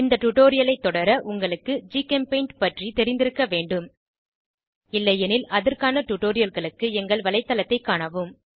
இந்த டுடோரியலை தொடர உங்களுக்கு ஜிகெம்பெய்ண்ட் பற்றி தெரிந்திருக்க வேண்டும் இல்லையெனில் அதற்கான டுடோரியல்களுக்கு எங்கள் வலைத்தளத்தைக் காணவும்